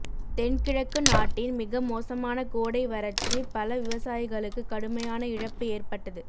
தென்கிழக்கு நாட்டின் மிக மோசமான கோடை வறட்சி பல விவசாயிகளுக்கு கடுமையான இழப்பு ஏற்பட்டது